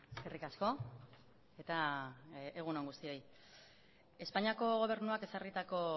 eskerrik asko eta egun on guztioi espainiako gobernuak ezarritako